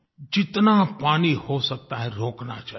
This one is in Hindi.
जितना पानी हो सकता है रोकना चाहिए